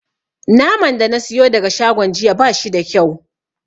Naman da na siyo daga shagon jiya ba shi da kyau.